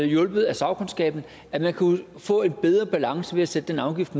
hjulpet af sagkundskaben at man kunne få en bedre balance ved at sætte den afgift